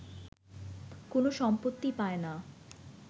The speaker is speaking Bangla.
কোন সম্পত্তি পায়না